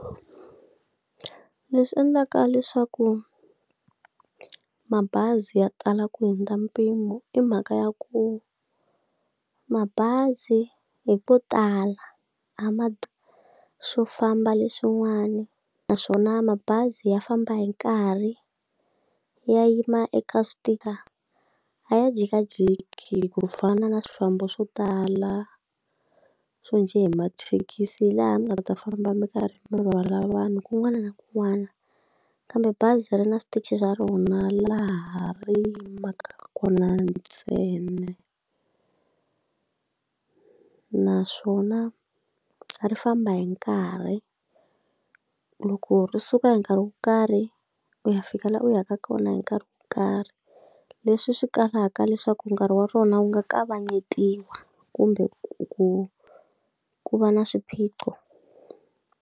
Leswi endlaka leswaku mabazi ya tala ku hundza mpimo i mhaka ya ku, mabazi hi ko tala a ma swo famba leswin'wana naswona mabazi ya famba hi nkarhi ya yima eka a ya jikajiki ku fana na swifambo swo tala so njhe hi mathekisi laha mi nga ta famba mi karhi mi rhwala vanhu kun'wana na kun'wana. Kambe bazari na switichi ra rona laha ri yimaka rona ntsena. Naswona ri famba hi nkarhi, loko ri suka hi nkarhi wo karhi u ya fika laha u yaka kona hi nkarhi wo karhi. Leswi swi kalaka leswaku nkarhi wa rona wu nga kavanyetiwa kumbe ku ku va na swiphiqo.